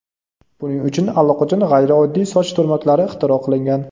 Buning uchun allaqachon g‘ayrioddiy soch turmaklari ixtiro qilingan.